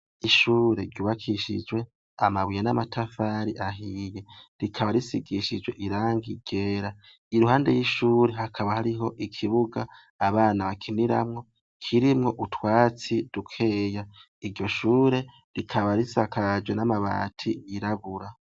Ishure ryubakishijwe amabuye n'amatafari ahiye, rikaba risigishijwe irangi ryera. Iruhande y'ishure hakaba hari ikibuga abana bakiniramwo kirimwo utwatsi dukeya, iryo Shure rikaba risakajwe n'amabati y'iraburua.